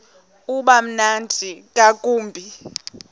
uba mnandi ngakumbi